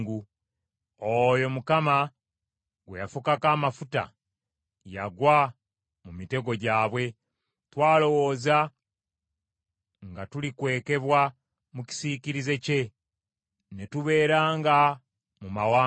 Oyo Mukama gwe yafukako amafuta yagwa mu mitego gyabwe. Twalowooza nga tulikwekebwa mu kisiikirize kye ne tubeeranga mu mawanga.